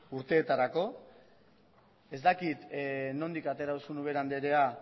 urteetarako ez dakit nondik atera duzun ubera anderea